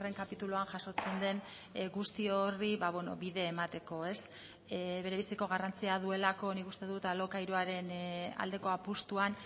kapituluan jasotzen den guzti horri bide emateko berebiziko garrantzia duelako nik uste dut alokairuaren aldeko apustuan